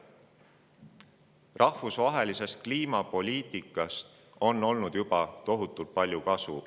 Rahvusvahelisest kliimapoliitikast on olnud juba tohutult palju kasu.